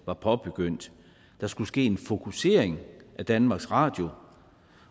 var påbegyndt der skulle ske en fokusering af danmarks radio